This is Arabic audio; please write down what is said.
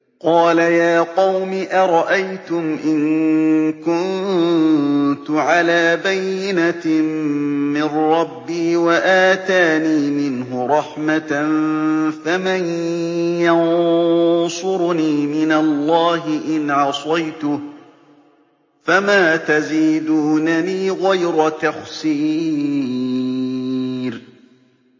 قَالَ يَا قَوْمِ أَرَأَيْتُمْ إِن كُنتُ عَلَىٰ بَيِّنَةٍ مِّن رَّبِّي وَآتَانِي مِنْهُ رَحْمَةً فَمَن يَنصُرُنِي مِنَ اللَّهِ إِنْ عَصَيْتُهُ ۖ فَمَا تَزِيدُونَنِي غَيْرَ تَخْسِيرٍ